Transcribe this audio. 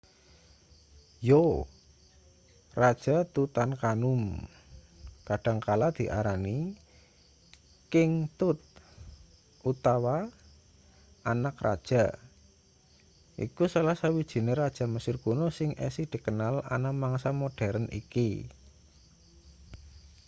yo raja tutankhamun kadang kala diarani king tut utawa anak raja iku salah sawijine raja mesir kuno sing isih dikenal ana mangsa moderen iki